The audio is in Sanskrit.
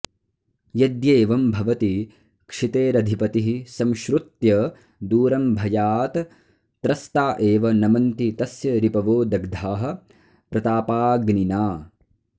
यद्येवं भवति क्षितेरधिपतिः संश्रुत्य दूरं भयात् त्रस्ता एव नमन्ति तस्य रिपवो दग्धाः प्रतापाग्निना